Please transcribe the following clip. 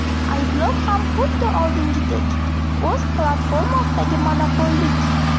Ayblov ham xuddi oldingidek o‘z platformasidagi monopollik.